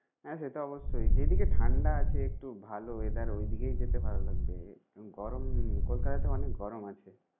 হ্যাঁ সেটা অবশ্যই। যেদিকে ঠান্ডা আছে একটু ভালো weather ওইদিকে যেতে ভালো লাগবে। গরম কলকাতাতে অনেক গরম আছে